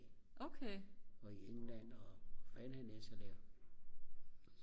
og i England og hvor fanden han ellers har lavet